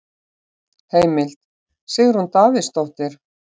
Heimild: Sigrún Davíðsdóttir.